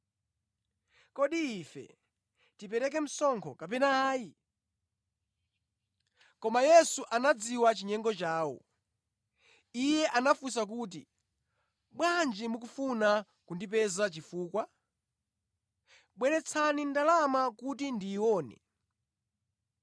Kodi ife tipereke msonkho kapena ayi?” Koma Yesu anadziwa chinyengo chawo. Iye anafunsa kuti, “Bwanji mukufuna kundipeza chifukwa? Bweretsani ndalama kuti ndiyione.”